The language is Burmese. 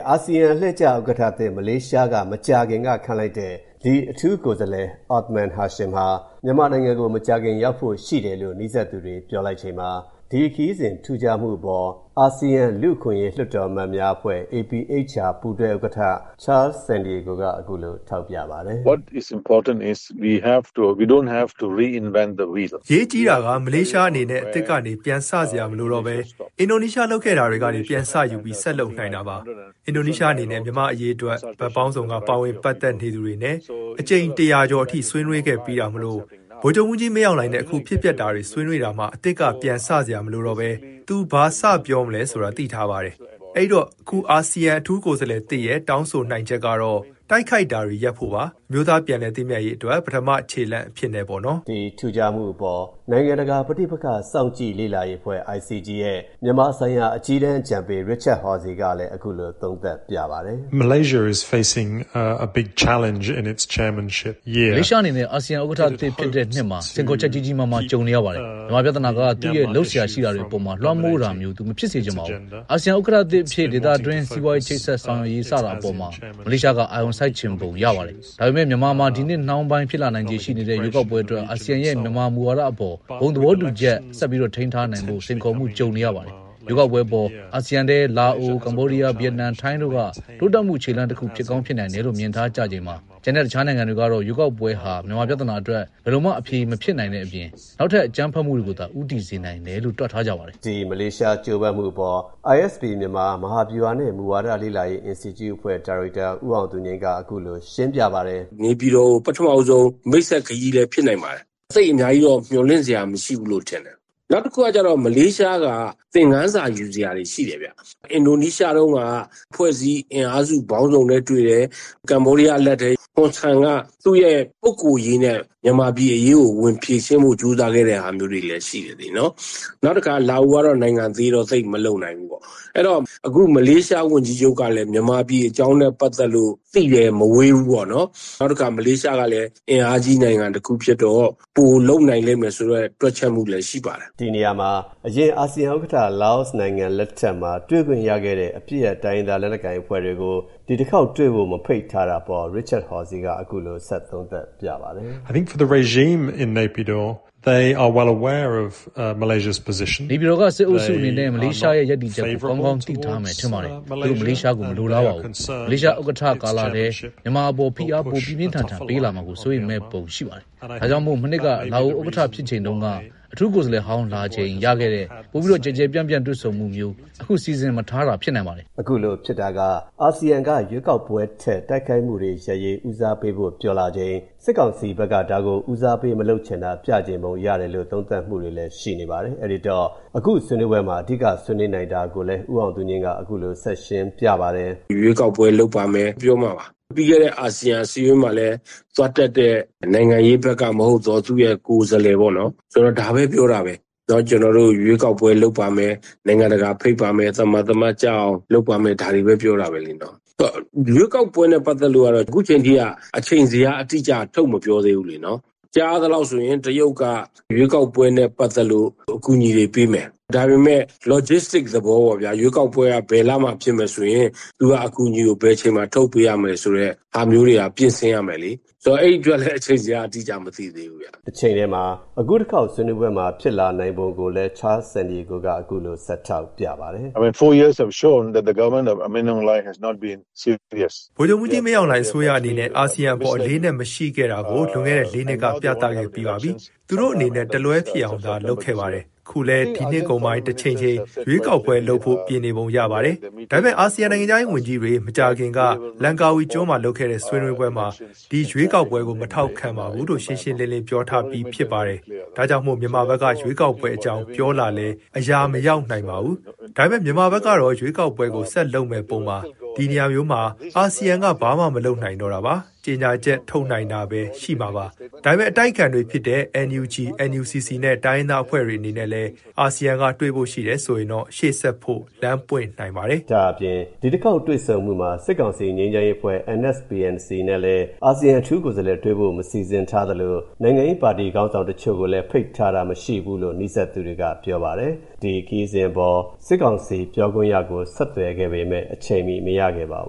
အာဆီယံ အလှည့်ကျဥက္ကဋ္ဌသစ် မလေးရှားက မကြာခင်ကခန့်လိုက်တဲ့အထူးကိုယ်စားလှယ် Othman Hashim ဟာ မြန်မာနိုင်ငံကို မကြာခင်ရောက်ဖို့ရှိတယ်လို့ နီးစပ်သူတွေပြောပါတယ်။ ဒီ ခရီးစဉ် ထူးခြားမှုအပေါ် အာဆီယံလူ့အခွင့်အရေး လွှတ်တော်အမတ်များအဖွဲ့ ပူးတွဲဥက္ကဋ္ဌ Charles Santiago က အခုလို ထောက်ပြပါတယ်။ “အရေးကြီးတာက မလေးရှားအနေနဲ့ အသစ်ကနေပြန်စစရာမလိုတော့ဘဲ အင်ဒိုနီးရှားလုပ်ခဲ့တာကနေ ပြန်စယူပြီး ဆက်လုပ်နိုင်တာပါ။ အင်ဒိုနီးရှားအနေနဲ့ မြန်မာ့အရေးအတွက် ဘက်ပေါင်းစုံက ပါဝင် ပတ်သက်သူတွေနဲ့ အကြိမ် ၁၀၀ ကျော်အထိ ဆွေးနွေးခဲ့ပြီးတာမို့ ဗိုလ်ချုပ်ကြီးမင်းအောင်လှိုင်နဲ့ အခုဖြစ်ပျက်တာတွေဆွေးနွေးတာမှာ အသစ်ကပြန်စ,စရာမလိုဘဲ သူဘာစပြောရမလဲဆိုတာ သိ ထားပါတယ်။ အဲ့ဒိတော့ အခု အာဆီယံအထူးကိုယ်စားလှယ်သစ်ရဲ့ တောင်းဆိုနိုင်ချက်ကတော့ တိုက်ခိုက်တာတွေ ရပ်ဖို့ပါ။ အမျိုးသားပြန်လည်သင့်မြတ်ရေးအတွက် ပထမခြေလှမ်းအဖြစ်နဲ့ ပေါ့နော်။” ဒီ ထူးခြားမှုအပေါ် နိုင်ငံတကာ ပဋိပက္ခ စောင့်ကြည့်ေလာရေးအဖွဲ့ ရဲ့ မြန်မာဆိုင်ရာ အကြီးတန်း အကြံပေး Richard Horsey ကလည်း အခုလို သုံးသပ်ပြပါတယ်။ “မလေးရှားအနေနဲ့ အာဆီယံဥက္ကဋ္ဌသစ်ဖြစ်တဲ့နှစ်မှာ စိန်ခေါ်ချက် ကြီးကြီးမားမား ကြုံနေရပါတယ်။ မြန်မာပြဿနာက သူ့ရဲ့ လုပ်စရာရှိတာတွေအပေါ် လွှမ်းမိုးတာမျိုး သူ မဖြစ်စေချင်ပါဘူး။ အာဆီယံ ဥက္ကဋ္ဌသစ်အဖြစ် ဒေသတွင်း စီးပွားရေးချိတ်ဆက်ဆောင်ရွက်ရေး-စတာအပေါ် မလေးရှားက အာရုံ စိုက်ချင်ပုံရပါတယ်။ ဒါပေမဲ့ မြန်မာမှာ ဒီနှစ်နှောင်းပိုင်း ဖြစ်လာနိုင်ခြေရှိနေတဲ့ ရွေးကောက်ပွဲအတွက် အာဆီယံရဲ့ မြန်မာမူဝါဒအပေါ် ဘုံသဘောတူချက်ဆက်ထိန်းထားနိုင်ဖို့ စိန်ခေါ်မှုကြုံနေရပါတယ်။ ရွေးကောက်ပွဲအပေါ် အာဆီယံထဲ လားအို၊ ကမ္ဘောဒီးယား၊ ဗီယက်နမ်၊ ထိုင်းတို့က တိုးတက်မှု ခြေလှမ်းတခုဖြစ်ကောင်းဖြစ်နိုင်တယ်လို့ မြင်ထားကြချိန်မှာ ကျန်တဲ့တခြားနိုင်ငံ တွေကတော့ ရွေးကောက်ပွဲဟာ မြန်မာပြဿနာအတွက် ဘယ်လိုမှ အဖြေမဖြစ်နိုင်တဲ့အပြင် နောက်ထပ် အကြမ်းဖက်မှုတွေကိုသာ ဦးတည်စေနိုင်တယ်လို့ တွက်ထားကြပါတယ်။” ဒီ မလေးရှား ကြိုးပမ်းမှုအပေါ် ISP မြန်မာ မဟာဗျူဟာနှင့် မူဝါဒလေ့လာရေး အင်စတီကျုအဖွဲ့ ဒါရိုက်တာ ဦးအောင်သူငြိမ်းက အခုလို ရှင်းပြပါတယ်။ “နေပြည်တော်ကို ပထမဆုံး မိတ်ဆက်ခရီးလည်းဖြစ်နိုင်ပါတယ်။ သိပ်အများကြီးတော့ မျှော်လင့်စရာ မရှိဘူးလို့ ထင်တယ်။ နောက်တခုကကျတော့ မလေးရှားက သင်ခန်းစာယူစရာတွေ ရှိတယ်။ အင်ဒိုနီးရှားတုန်းက အဖွဲ့အစည်း အင်အားစုပေါင်းစုံနဲ့တွေ့တယ်။ ကမ္ဘောဒီးယားအလှည့်ထဲ ဟွန်ဆန်က သူ့ရဲ့ပုဂ္ဂိုလ်ရေးနဲ့ ဗမာပြည်အရေးကိုဝင်ဖြေရှင်းဖို့ ကြိုးစားခဲ့တဲ့ဟာမျိုးလေးတွေလည်း ရှိတယ်လေ၊ နော်။ နောက်တခါ လာအိုကတော့ နိုင်ငံသေးတော့ သိပ်မလုပ်နိုင်ဘူးပေါ့။ အဲဒီတော့ မလေးရှားဝန်ကြီးချုပ်ကလည်း မြန်မာပြည်အကြောင်းနဲ့ပတ်သက်လို့ သိပ်လည်းမဝေးဘူးပေါ့နော်။ နောက်တခါ မလေးရှားကလည်း အင်အားကြီးနိုင်ငံတခုဖြစ်တော့ ပိုလုပ်နိုင်မယ်ဆိုတဲ့ တွက်ချက်မှုလည်း ရှိပါတယ်။” ဒီနေရာမှာ အရင် အာဆီယံဥက္ကဋ္ဌ လာအိုနိုင်ငံလက်ထက်မှာ တွေ့ခွင့်ရခဲ့တဲ့ အပစ်ရပ် တိုင်းရင်းသား လက်နက်ကိုင်အဖွဲ့တွေကို ဒီတစ်ခေါက်တွေ့ဖို့ မဖိတ်ထားတာအပေါ် Richard Horsey က အခုလို ဆက်သုံးသပ်ပြပါတယ်။ “နေပြည်တော်ကစစ်အုပ်စုအနေနဲ့ မလေးရှားရဲ့ရပ်တည်ချက်ကို ကောင်းကောင်းသိထားမယ် ထင်ပါတယ်။ သူတို့ မလေးရှားကို မလိုလားပါဘူး။ မလေးရှားဥက္ကဋ္ဌကာလထဲ မြန်မာအပေါ် ဖိအား ပိုပြင်းပြင်းထန်ထန်ပေးလာမှာ စိုးရိမ်မဲ့ပုံရှိပါတယ်။ ဒါကြောင့်မို့ မနှစ်က လာအိုဥက္ကဋ္ဌဖြစ်ချိန်တုန်းက အထူးကိုယ်စားလှယ်ဟောင်း လာချိန်ရခဲ့တဲ့ ပိုကျယ်ကျယ်ပြန့်ပြန့် တွေ့ဆုံမှုမျိုး အခု မစီစဉ်ထားတာ ဖြစ်နိုင်ပါတယ်။” အခုလိုဖြစ်တာက အာဆီယံက ရွေးကောက်ပွဲထက် တိုက်ခိုက်မှုတွေရပ်ရေး ဦးစားပေးဖို့ ပြောလာချိန်၊ စစ်ကောင်စီဘက်က ဒါကို ဦးစားပေးမလုပ်ချင်တာ ပြချင်ပုံရတယ်လို့ သုံးသပ်မူတွေလည်း ရှိနေပါတယ်။ အဲ့ဒိတော့ အခုဆွေးနွေးပွဲမှာ အဓိက ဆွေးနွေးနိုင်တာကိုလည်း ဦးအောင်သူငြိမ်းက အခုလို ဆက်ရှင်းပြပါတယ်။ “ရွေးကောက်ပွဲလုပ်ပါမယ်၊ ပြီးတော့မှ ပြီးခဲ့တဲ့အာဆီယံအစည်းအဝေးမှာလည်းပဲ သွားတက်တဲ့ နိုင်ငံရေးဘက်ကမဟုတ်သော သူ့ရဲ့ကိုယ်စားလှယ်ပေါ့နော်- ဒါပဲ ပြောတာပဲ။ ‘ကျနော်တို့ ရွေးကောက်ပွဲ လုပ်ပါမယ်၊ နိုင်ငံတကာဖိတ်ပါမယ်၊ သမာသမတ်ကျအောင်လုပ်ပါမယ်၊’ ဒါတွေပဲ ပြောတာပဲလေ-နော်။ ရွေးကောက်ပွဲနဲ့ပတ်သက်လို့ကတော့ အခုချိန်ထိက အချိန်ဇယားအတိအကျ ထုတ်မပြောသေးဘူး လေ-နော်။ ကြားရသလောက်ဆိုရင် တရုတ်က ရွေးကောက်ပွဲနဲ့ပတ်သက်လို့ အကူအညီတွေပေးမယ်၊ ဒါပေမဲ့ logisitic သဘောပေါ့ဗျာ။ ရွေးကောက်ပွဲက ဘယ်လမှာဖြစ်မယ်ဆိုရင် သူက အကူအညီကို ဘယ်အချိန်မှာ ထုတ်ပေးရမယ်ဆိုတဲ့ဟာမျိုးတွေက ပြင်ဆင်ရမယ်လေ။ ဆိုတော့ အဲဒီအတွက် အချိန်ဇယား အတိအကျက မသိသေးဘူးဗျ။” တချိန်တည်းမှာ အခုတခေါက်ဆွေးနွေးပွဲမှာ ဖြစ်လာနိုင်ပုံကိုလည်း Charles Santiago က အခုလို ဆက်ထောက်ပြပါတယ်။ “ဗိုလ်ချုပ်မှူးကြီး မင်းအောင်လှိုင်အစိုးရအနေနဲ့ အာဆီယံအပေါ် အလေးအနက်မရှိခဲ့တာကို လွန်ခဲ့တဲ့ ၄ နှစ်က ပြခဲ့ပြီးပါပြီ။ သူတို့အနေနဲ့ တလွဲဖြစ်အောင်သာလုပ်ခဲ့ပါတယ်။ အခုလည်း ဒီနှစ်ကုန်ပိုင်း တချိန်ချိန် ရွေးကောက်ပွဲလုပ်ဖို့ ပြင်နေပုံရပါတယ်။ ဒါပေမဲ့ အာဆီယံ နိုင်ငံခြားရေးဝန်ကြီးတွေ မကြာခင်က Langkawi ကျွန်းမှာလုပ်တဲ့ဆွေးနွေးပွဲမှာ ဒီရွေးကောက်ပွဲကို မထောက်ခံပါဘူးလို့ ရှင်းရှင်းလင်းလင်း ပြောထားပြီးပြီ ထင်ပါတယ်။ ဒါကြောင့်မို့ မြန်မာဘက်က ရွေးကောက်ပွဲ အကြောင်းပြောလာလည်း အရာမရောက်နိုင်ပါဘူး။ ဒါပေမဲ့ မြန်မာဘက်ကတော့ ရွေးကောက်ပွဲကို ဆက်လုပ်မဲ့ပုံပါ။ ဒီနေရာမျိုးမှာ အာဆီယံက ဘာမှမလုပ်နိုင်တော့တာပါ။ ကြေညာချက်ထုတ်နိုင်တာပဲ ရှိနိုင်မှာပါ။ ဒါပေမဲ့ အတိုက်အခံတွေဖြစ်တဲ့ NUG NUCC နဲ့ တိုင်းရင်းသားအဖွဲ့တွေနဲ့လည်း အာဆီယံကတွေ့ဖို့ရှိတယ်ဆိုရင်တော့ ရှေ.ဆက်ဖို့ လမ်းပွင့်နိုင်ပါတယ်။” ဒါ့အပြင် ဒီတခေါက်တွေ့ဆုံမှုမှာ စစ်ကောင်စီ ငြိမ်းချမ်းရေးအဖွဲ့ NSPNC နဲ့လည်း အာဆီယံ အထူး ကိုယ်စားလှယ်တွေ့ဖို့ မစီစဉ်ထားသလို နိုင်ငံရေးပါတီခေါင်းဆောင်တချို့ကိုလည်း ဖိတ်ထားတာ မရှိဘူးလို့ နီးစပ်သူတွေက ပြောပါတယ်။ ဒီခရီးစဉ်အပေါ် စစ်ကောင်စီ ပြောခွင့်ရကို ဆက်သွယ်ခဲ့ပေမဲ့ အချိန်မီ မရခဲ့ပါဘ